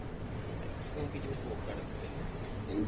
പൈസ നോക്കിട്ട് ഇപ്പൊ പോക്ക് നടക്കൂലലോ